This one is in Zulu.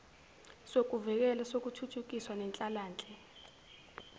sokuvikela sokuthuthukisa nenhlalanhle